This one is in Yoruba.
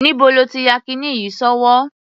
Níbo ló ti ya kiní yìí sí ọwọ́?